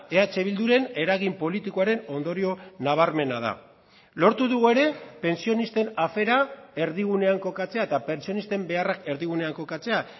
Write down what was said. eh bilduren eragin politikoaren ondorio nabarmena da lortu dugu ere pentsionisten afera erdigunean kokatzea eta pentsionisten beharrak erdigunean kokatzea